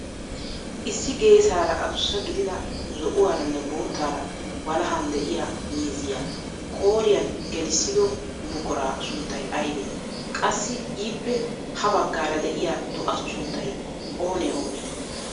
Issi geessaara adussa gidida zo'uwaaranne boottaara walahan de'iyaa miizziyaa qooriyaan gelissido buquraa sunttay aybee? Qassi ippe ha baggaara de'iyaa do"atu sunttay oonee oonee?